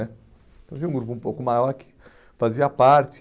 né então tinha um grupo um pouco maior que fazia parte.